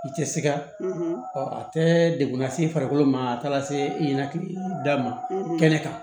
I tɛ siga ɔ a tɛ degun lase i farikolo ma a taara se i ɲɛna k'i da ma kɛnɛ kan